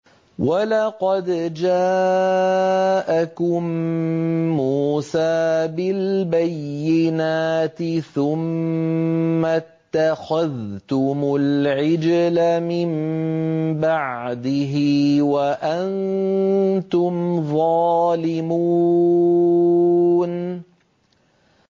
۞ وَلَقَدْ جَاءَكُم مُّوسَىٰ بِالْبَيِّنَاتِ ثُمَّ اتَّخَذْتُمُ الْعِجْلَ مِن بَعْدِهِ وَأَنتُمْ ظَالِمُونَ